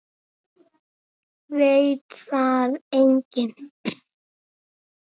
Veit það enginn?